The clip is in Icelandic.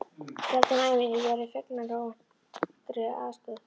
Sjaldan á ævinni hef ég orðið fegnari óvæntri aðstoð.